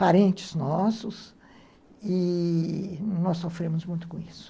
Parentes nossos e nós sofremos muito com isso.